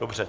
Dobře.